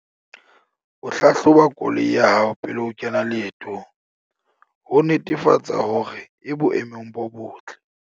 O hlahloba koloi ya hao pele o kena leetong, ho netefatsa hore e boemong bo botle.